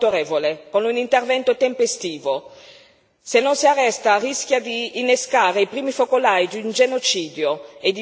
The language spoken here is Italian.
Se non si arresta, rischia di innescare i primi focolai di un genocidio e di destabilizzare tutta la regione dei Grandi Laghi.